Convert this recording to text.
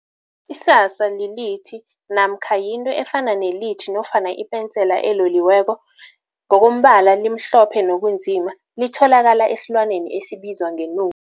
Isasa lilithi namkha yinto efana nelithi nofana ipensela eloliweko. Ngokombala limhlophe nobunzima, litholakala esilwaneni esibizwa ngenu